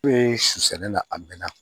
Ne ye su sɛnɛ na a mɛnna